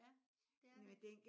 Ja. Det er det